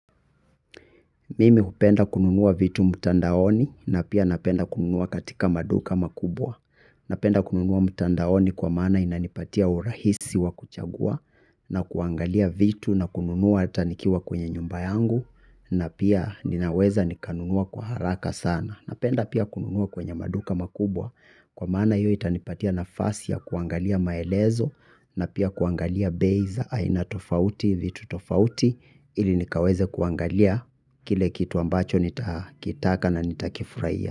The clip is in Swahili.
Mimi hupenda kununua vitu mtandaoni na pia napenda kununua katika maduka makubwa. Napenda kununua mtandaoni kwa maana inanipatia urahisi wa kuchagua na kuangalia vitu na kununua ata nikiwa kwenye nyumba yangu na pia ninaweza nikanunua kwa haraka sana. Napenda pia kununua kwenye maduka makubwa kwa maana iyo itanipatia nafasi ya kuangalia maelezo na pia kuangalia bei za aina tofauti vitu tofauti ili nikaweze kuangalia kile kitu ambacho nitakitaka na nitakifuraiya.